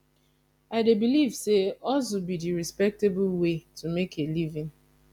i dey believe say hustle be di respectable way to make a living